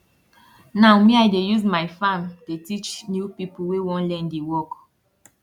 now me i dey use my farm dey teach new pipo wey want learn di work